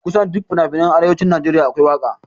Kusan duk finafinan arewacin Najeriya akwai waƙa